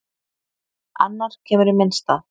Annar kemur í minn stað.